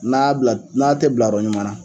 N'a bila n'a te bilayɔrɔ ɲuman na